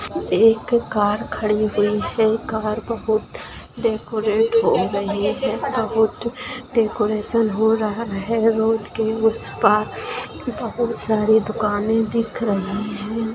एक कार खड़ी हुई है। कार बहुत डेकोरेट हो रही है। बहुत डेकोरेशन हो रहा है। रोड के उसपार बहुत सारी दुकानें दिख रही है।